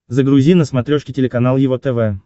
загрузи на смотрешке телеканал его тв